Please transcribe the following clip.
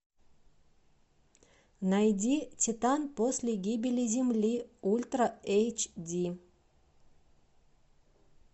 найди титан после гибели земли ультра эйч ди